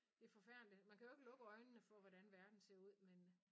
Det forfærdeligt man kan jo ikke lukke øjnene for hvordan verden ser ud men